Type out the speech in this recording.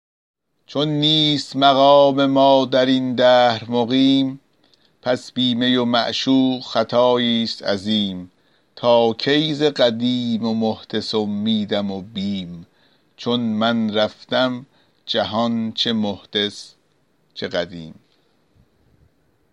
چون نیست مقام ما در این دهر مقیم پس بی می و معشوق خطاییست عظیم تا کی ز قدیم و محدث امیدم و بیم چون من رفتم جهان چه محدث چه قدیم